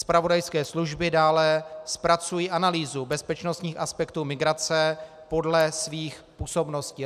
Zpravodajské služby dále zpracují analýzu bezpečnostních aspektů migrace podle svých působností.